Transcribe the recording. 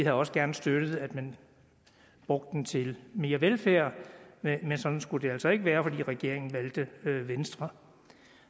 også gerne støttet at man brugte dem til mere velfærd men sådan skulle det altså ikke være fordi regeringen valgte venstre